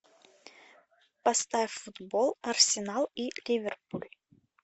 поставь футбол арсенал и ливерпуль